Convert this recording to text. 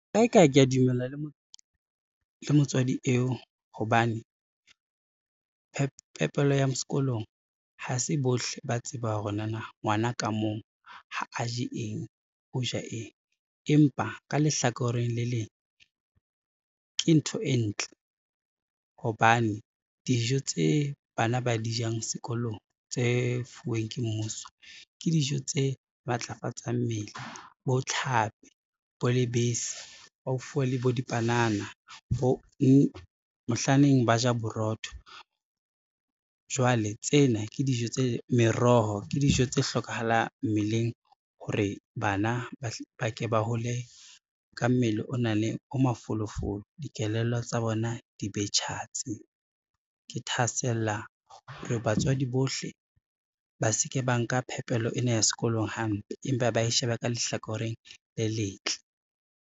Kae kae, kea dumela le motswadi eo, hobane phepelo ya sekolong ha se bohle ba tsebang hore nana ngwana ka mong ha a je eng, o ja eng. Empa ka lehlakoreng le leng, ke ntho e ntle hobane dijo tse bana ba di jang sekolong tse fuweng ke mmuso, ke dijo tse matlafatsang mmele bo tlhapi, bo lebese ba fuwa le bo dipanana, mohlaneng ba ja borotho. Jwale tsena ke dijo tse meroho, ke dijo tse hlokahalang mmeleng hore bana ba ke ba hole ka mmele o mafolofolo, dikelello tsa bona di be tjhatsi. Ke thahasella hore batswadi bohle ba se ke ba nka phepelo ena ya sekolong hampe, empa bae shebe ka lehlakoreng le letle.